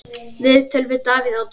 Viðtöl við Davíð Oddsson